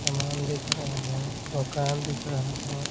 सामान दिख रहे हैं दुकान दिख रहा है।